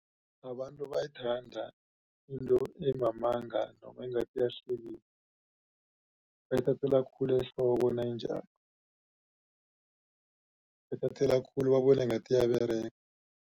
Abantu bayayithanda into emamanga noma engathi iyahlekisa bayithathela khulu ehloko nayinjalo bayithathela khulu babona ngathi iyaberega.